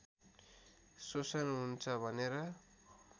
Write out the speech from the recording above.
शोषण हुन्छ भनेर